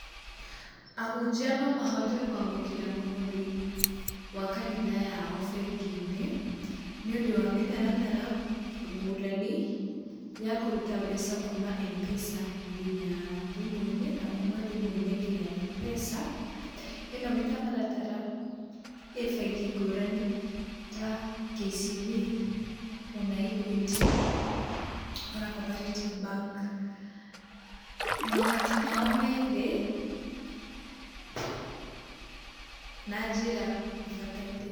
Ahunjia nomahote kwamũkĩra mũhothi wakanitha yao bengi-inĩ nĩũndũ wa mĩtaratara ngũrani ya kũruta mbeca kuma Mpesa nginya thimũ-inĩ, na kuma thimũ-inĩ nginya Mpesa. ĩno mĩtaratara ĩbengi ngũrani ta KCB, ona Equity, ona Cooparative Bank. Magoti mao methĩ na njĩra ĩbataire.